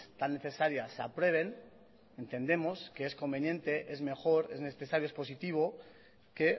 tan necesarias se aprueben entendemos que es conveniente es mejor es necesario es positivo que